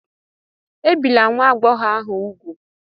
Ebìla nwa agbọghọ ahụ úgwù!